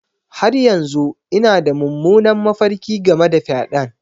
Har yanzu ina da mummunan mafarki game da fyaɗen.